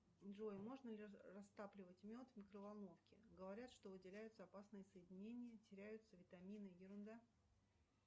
джой можно ли растапливать мед в микроволновке говорят что выделяются опасные соединения теряются витамины ерунда